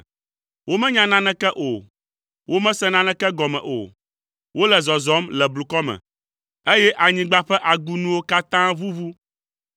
“Womenya naneke o, womese naneke gɔme o. Wole zɔzɔm le blukɔ me, eye anyigba ƒe agunuwo katã ʋuʋu.